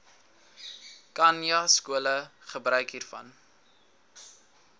khanyaskole gebruik hiervan